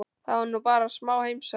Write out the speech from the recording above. Það var nú bara smá heimsókn.